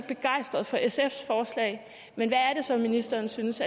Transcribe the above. begejstret for sfs forslag men hvad er det så ministeren synes